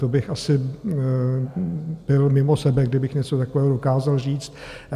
To bych asi byl mimo sebe, kdybych něco takového dokázal říct.